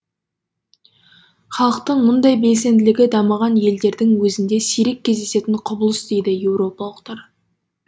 халықтың мұндай белсенділігі дамыған елдердің өзінде сирек кездесетін құбылыс дейді еуропалықтар